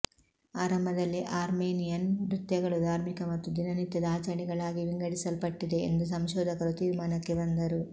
ಆರಂಭದಲ್ಲಿ ಅರ್ಮೇನಿಯನ್ ನೃತ್ಯಗಳು ಧಾರ್ಮಿಕ ಮತ್ತು ದಿನನಿತ್ಯದ ಆಚರಣೆಗಳಾಗಿ ವಿಂಗಡಿಸಲ್ಪಟ್ಟಿದೆ ಎಂದು ಸಂಶೋಧಕರು ತೀರ್ಮಾನಕ್ಕೆ ಬಂದರು